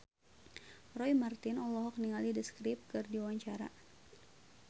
Roy Marten olohok ningali The Script keur diwawancara